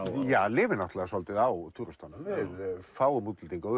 lifir náttúrulega svolítið á túristunum við fáum útlendinga og